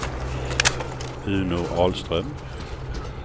Uno Ahlström